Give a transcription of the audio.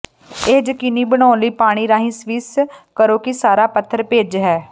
ਇਹ ਯਕੀਨੀ ਬਣਾਉਣ ਲਈ ਪਾਣੀ ਰਾਹੀਂ ਸਵਿਸ ਕਰੋ ਕਿ ਸਾਰਾ ਪਥਰ ਭਿੱਜ ਹੈ